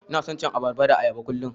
Ina son cin abarba da ayaba kullum.